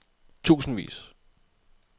tusindvis